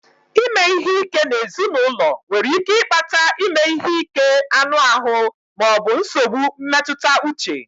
Ime ihe ike n'ezinụlọ nwere ike ịkpata ime ihe ike anụ ahụ ma ọ bụ nsogbu mmetụta uche